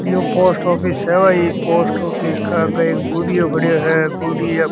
ये एक post office है पोस्ट ऑफ़िस के बाहर बुढ़ियो खड़ो है।